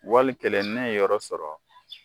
Wali kelen ne ye yɔrɔ sɔrɔ